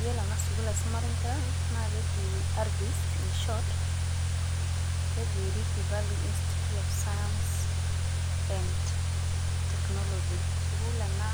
Yielo ena sukuul naisumari enkera naa keji arifis in short keji Rifty Valley Institute of science and Technology sukuul ena